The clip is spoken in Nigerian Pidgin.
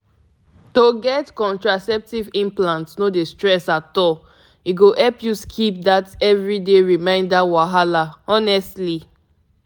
once dem place implant e dey drop hormone small-small na better and easy and easy way to prevent belle. actually e make um sense!